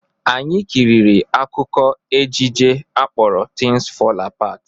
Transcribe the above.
Anyi kiriri akụkọ ejije akpọrọ Tins Fọl Apat